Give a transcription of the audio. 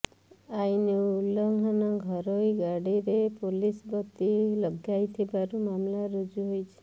ଆଇନ ଉଲ୍ଲଙ୍ଘନ ଘରୋଇ ଗାଡ଼ିରେ ପୋଲିସବତୀ ଲଗାଇଥିବାରୁ ମାମଲା ରୁଜୁ ହୋଇଛି